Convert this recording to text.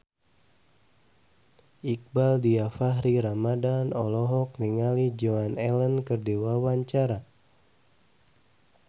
Iqbaal Dhiafakhri Ramadhan olohok ningali Joan Allen keur diwawancara